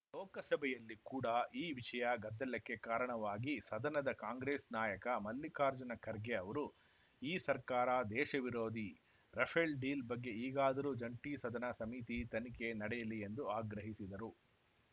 ಲೋಕಸಭೆಯಲ್ಲಿ ಕೂಡ ಈ ವಿಷಯ ಗದ್ದಲಕ್ಕೆ ಕಾರಣವಾಗಿ ಸದನದ ಕಾಂಗ್ರೆಸ್‌ ನಾಯಕ ಮಲ್ಲಿಕಾರ್ಜುನ ಖರ್ಗೆ ಅವರು ಈ ಸರ್ಕಾರ ದೇಶ ವಿರೋಧಿ ರಫೇಲ್‌ ಡೀಲ್‌ ಬಗ್ಗೆ ಈಗಾದರೂ ಜಂಟಿ ಸದನ ಸಮಿತಿ ತನಿಖೆ ನಡೆಯಲಿ ಎಂದು ಆಗ್ರಹಿಸಿದರು